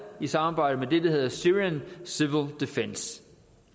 i samarbejde med det er hedder syrian civil defense